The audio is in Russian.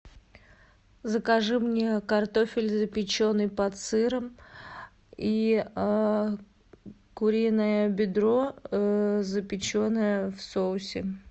закажи мне картофель запеченный под сыром и куриное бедро запеченное в соусе